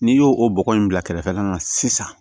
N'i y'o o bɔgɔ in bila kɛrɛfɛ sisan